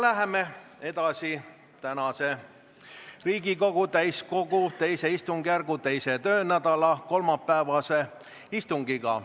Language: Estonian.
Läheme edasi Riigikogu täiskogu II istungjärgu 2. töönädala kolmapäevase istungiga.